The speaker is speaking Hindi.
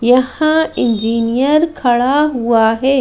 यहां इंजीनियर खड़ा हुआ है।